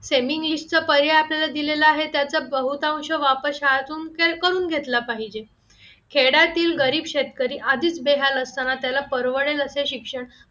semi English चा पर्याय असलेला दिलेला आहे त्याचा बहुतांश वापर शाळेतून करून घेतला पाहिजे खेड्यातील गरीब शेतकरी आधीच बेहाल असताना त्याला परवडेल असे शिक्षण